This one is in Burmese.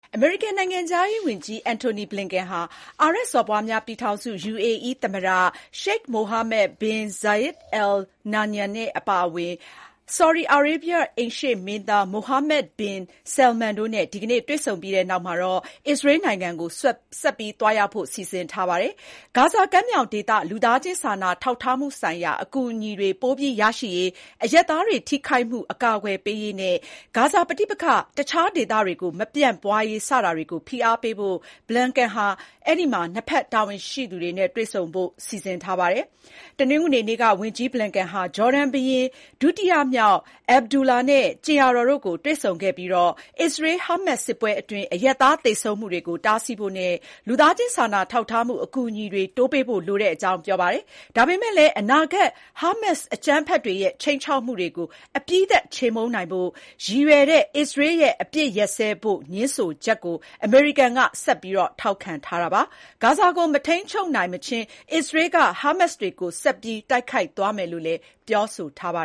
အမေရိကန်နိုင်ငံခြားရေးဝန်ကြီး Antony Blinken ဟာ အာရပ်စော်ဘွားများ ပြည်ထောင်စု UAE သမ္မတ Sheikh Mohammed bin Zayed Al Nahyan အပါအဝင် ဆော်ဒီအာရေဗျ အိမ်ရှေ့မင်းသား Mohammed bin Salman တို့နဲ့ ဒီကနေ့ တွေ့ဆုံပြီးနောက် အစ္စရေးနိုင်ငံကို ဆက်ပြီး သွားရောက်ဖို့ စီစဉ်ထားပါတယ်။ ဂါဇာကမ်းမြောင်ဒေသ လူသားချင်းစာနာထောက်ထားမှုဆိုင်ရာ အကူအညီတွေပိုပြီးရရှိရေး၊ အရပ်သားတွေထိခိုက်မှု အကာအကွယ်ပေးရေးနဲ့ ဂါဇာပဋိပက္ခ တခြားဒေသတွေကို မပြန့်ပွါးရေး စတာတွေကို ဖိအားပေးဖို့ Blinken ဟာ နှစ်ဖက် တာဝန်ရှိသူတွေနဲ့ ဆွေးနွေးဖို့ရှိပါတယ်။ တနင်္ဂနွေနေ့က ဝန်ကြီး Blinken ဟာ ဂျော်ဒန်ဘုရင်ဒုတိယမြောက် Abdullah နဲ့ ကြင်ယာတော်တို့ကိုတွေ့ဆုံခဲ့ပြီး အစ္စရေး-ဟာမတ်စ် စစ်ပွဲအတွင်းအရပ်သားသေဆုံးမှုတွေကို တားဆီးဖို့နဲ့ လူသားချင်းစာနာထောက်ထားမှု အကူအညီတွေ တိုးပေးဖို့ လိုတဲ့အကြောင်း ပြောပါတယ်။ ဒါပေမဲ့လည်း အနာဂတ် ဟာမတ်စ်အကြမ်းဖက်တွေရဲ့ ခြိမ်းခြောက်မှုတွေကို အပြီးသတ်ချေမှုန်းနိုင်ဖို့ ရည်ရွယ်တဲ့ အစ္စရေးရဲ့ အပစ်ရပ်စဲဖို့ ငြင်းဆိုချက်ကို အမေရိကန်က ဆက်ပြီးထောက်ခံထားပါတယ်။ ဂါဇာကို မထိန်းချုပ်နိုင်မချင်း အစ္စရေးက ဟာမတ်စ်တွေကို ဆက်ပြီး တိုက်ခိုက်သွားမယ်လို့ ပြောဆိုထားတာပါ